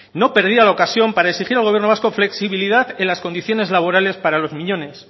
no perdía la ocasión para exigir al gobierno vasco flexibilidad en las condiciones laborales para los miñones